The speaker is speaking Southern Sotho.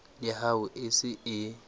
ya hao e se e